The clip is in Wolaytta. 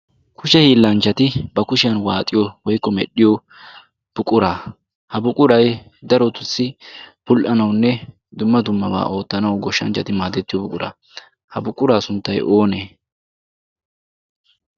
kushe hiillanchchati ba kushiyan waaxiyo woiqqo medhdhiyo buqura ha buqurai darotussi pul77anaunne dumma dummabaa oottanau goshshanchchati maadettiyo buqura ha buquraa sunttai oonee?